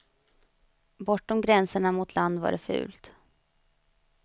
Bortom gränserna mot land var det fult.